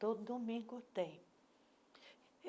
Todo domingo tem.